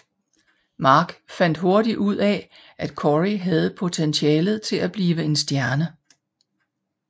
Mark fandt hurtigt ud af at Cory havde potentialet til at blive en stjerne